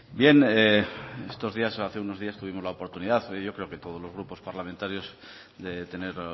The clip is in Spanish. hace unos días tuvimos la oportunidad yo creo que todos los grupos parlamentarios de tener